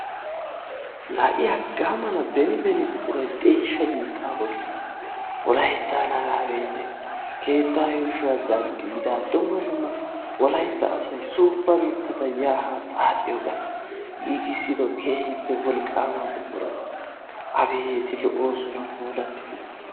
La i haggaa mala beni beni buqurayi de7iishsha biittaa bollan wolayttan hagaa be'ite keettaa yuushshuwa zanddiida dumma dumma wolaytta asayi suuppa mittata yaa haa xaaxiyoogaa giigissido kerhippe wolqqaama buqurata abeeti lo7oosonanpuulattidi.